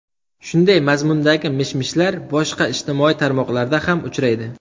Shunday mazzmundagi mish-mishlar boshqa ijtimoiy tarmoqlarda ham uchraydi.